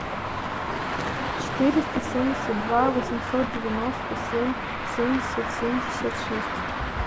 четыреста семьдесят два восемьсот девяносто семь семьдесят семьдесят шесть